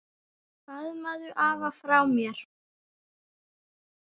Faðmaðu afa frá mér.